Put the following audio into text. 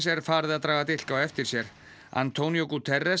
er farið að draga dilk á eftir sér antonio